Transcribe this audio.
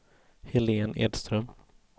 Helén Edström